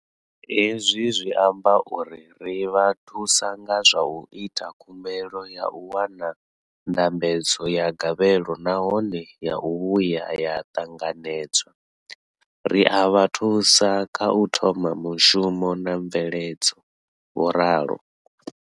Hezwi zwi amba uri ri vha thusa nga zwa u ita khumbelo ya u wana ndambedzo ya gavhelo nahone ya vhuya ya ṱanganedzwa, ri a vha thusa kha u thoma mushumo na mveledzo, vho ralo.